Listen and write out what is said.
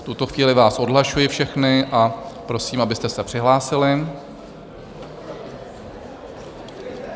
V tuto chvíli vás odhlašuji všechny a prosím, abyste se přihlásili.